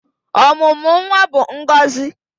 Ọmụmụ nwa bụ ngọzị